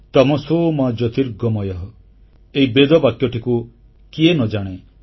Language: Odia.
ତମସୋ ମା ଜ୍ୟୋତିର୍ଗମୟଃ ଏହି ବେଦ ବାକ୍ୟଟିକୁ କିଏ ନ ଜାଣେ